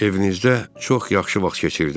Evinizdə çox yaxşı vaxt keçirdim.